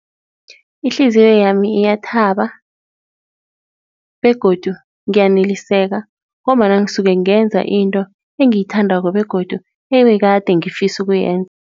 Ihliziyo yami iyathaba begodu ngiyaneliseka ngombana ngisuke kungenza into engiyithandako begodu ebekade ngifisa ukuyenza.